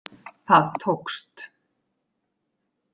Það tókst.